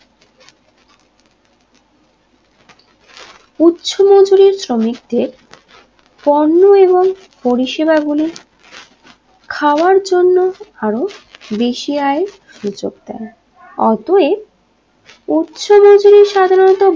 উচ্চ মজুরি শ্রমিকদের পণ্য এবং পরিষেবাগুলি খাওয়ার জন্য আরও বেশি আয় সুযোগ দেয় অতএব উচ্চ মজুরি সাধারণত